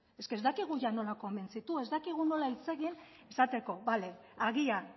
eske ez dakigu ia nola konbentzitu ez dakigu nola hitz egin esateko bale agian